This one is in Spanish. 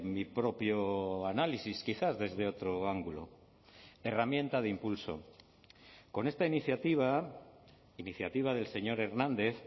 mi propio análisis quizás desde otro ángulo herramienta de impulso con esta iniciativa iniciativa del señor hernández